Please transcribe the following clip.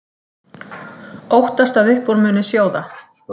Óttast að upp úr muni sjóða